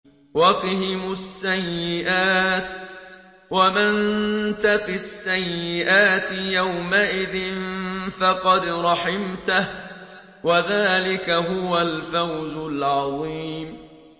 وَقِهِمُ السَّيِّئَاتِ ۚ وَمَن تَقِ السَّيِّئَاتِ يَوْمَئِذٍ فَقَدْ رَحِمْتَهُ ۚ وَذَٰلِكَ هُوَ الْفَوْزُ الْعَظِيمُ